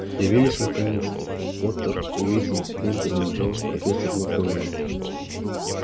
явились наконец-то поттер уизли к ним приближалась профессор макгонагалл